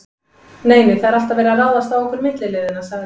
Nei, nei, það er alltaf verið að ráðast á okkur milliliðina sagði